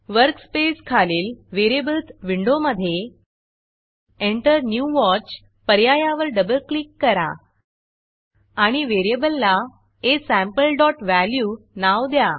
वर्कस्पेसखालील Variablesवेरियबल्स विंडोमधे Enter new Watchएंटर न्यू वॉच पर्यायावर डबल क्लिक करा आणि व्हेरिएबलला asampleवॅल्यू नाव द्या